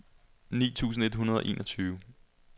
ni tusind et hundrede og enogtyve